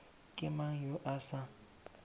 ke mang yo a sa